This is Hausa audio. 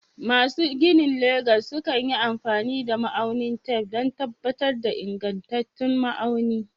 Masu ginin Legas sukan yi amfani da ma'aunin tef don tabbatar da ingantattun ma'auni.